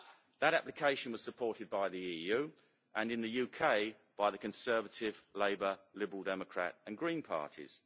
That application was supported by the EU, and in the UK by the Conservative, Labour, Liberal Democrat and Green parties.